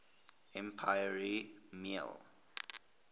emperor y mei